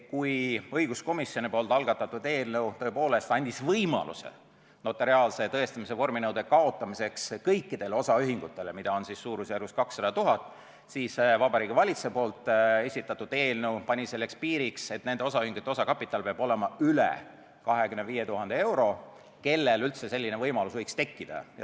Kui õiguskomisjoni algatatud eelnõu tõepoolest andis võimaluse notariaalse tõestamise vorminõue kaotada kõikidel osaühingutel, mida on suurusjärgus 200 000, siis Vabariigi Valitsuse esitatud eelnõu pani piiriks, et nende osaühingute osakapital peab olema üle 25 000 euro, et üldse selline võimalus võiks tekkida.